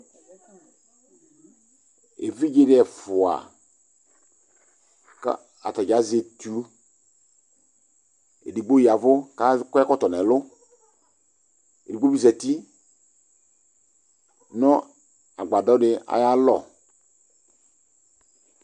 Evidze ne ɛfua ka ata dza azɛ etu edigbo ya vu kakɔ ɛkɔtɔ nɛlu, edigbo be zati no agvadɔ de ayalɔ